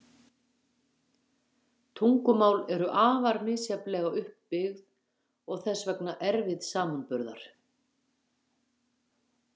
Tungumál eru afar misjafnlega upp byggð og þess vegna erfið samanburðar.